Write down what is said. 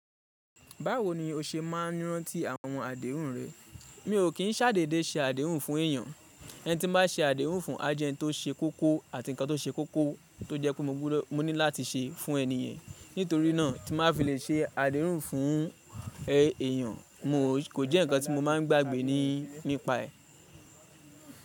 Báwo ni o ṣe máa ń rántí àwọn àdéhùn rẹ? Mi ò kín ṣàdédé ṣe àdéhùn fún èyàn. Ẹni tí n bá se àdéhùn fún a jẹ́ni tó se kókó àti nǹkan tó se kókó tó jẹ́ pé mo gbúdọ̀ mo ní láti se fún ẹni yẹn. Nítorí náà tí n bá fi lè se àdéhùn fún èèyàn, kò jẹ́ nǹkan tí mo máa ń gbàgbé nípa ẹ.